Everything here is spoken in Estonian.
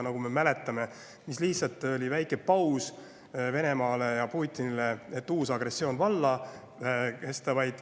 Nagu me mäletame, Venemaal ja Putinil lihtsalt väikese pausi, et siis uus agressioon valla lasta.